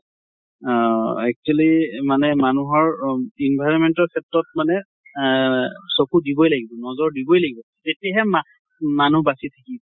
অহ actually মানে মানুহৰ অ environment ৰ ক্ষেত্ৰত মানে এহ চকু দিবই লাগিব, নজৰ দিবই লাগিব তেতিয়াহে মা মানুহ বাচি থাকিব